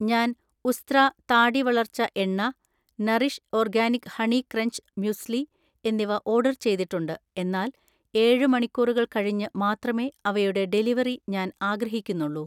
ഞാൻ ഉസ്ത്രാ താടി വളർച്ച എണ്ണ, nourish organic honey crunch muesli എന്നിവ ഓർഡർ ചെയ്തിട്ടുണ്ട്, എന്നാൽ ഏഴ് മണിക്കൂറുകൾ കഴിഞ്ഞ് മാത്രമേ അവയുടെ ഡെലിവറി ഞാൻ ആഗ്രഹിക്കുന്നുള്ളൂ